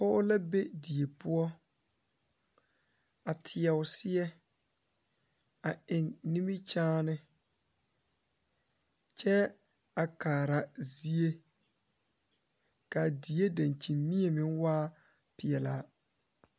Pɔge la be die poɔ a teɛ o seɛ a eŋ nimikyaane kyɛ a kaara zie k,a die dankyinmie meŋ waa peɛlaa.